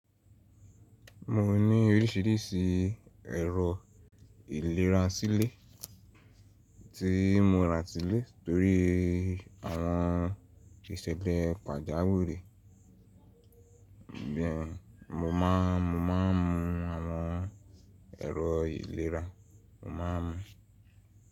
Mo ní oríṣìíríṣìí ẹ̀rọ ìlera sílé tí mo ra sílé torí àwọn ìṣẹ̀lẹ̀ pàjáwìrì. Mo máà, mo máa ń mu àwọn ẹ̀rọ ìlera, mo máa ń mu.